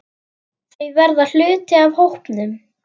Þau verða hluti af hópnum.